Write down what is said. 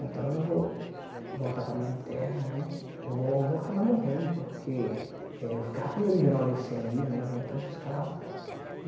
Então, eu vou voltar para a minha terra né, vou vou acabar morrendo, porque eh eu ficava com medo de virar uma leucemia né, via tantos casos.